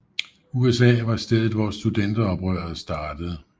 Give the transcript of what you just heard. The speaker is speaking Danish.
USA var stedet hvor studenteroprøret startede